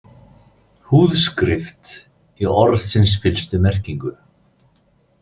Húðskrift í orðsins fyllstu merkingu.